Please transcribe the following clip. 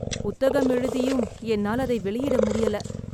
புத்தகம் எழுதியும் என்னால் அதை வெளியிட முடியல.